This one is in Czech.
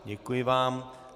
Děkuji vám.